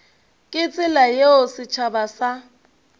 ka tsela yeo setšhaba sa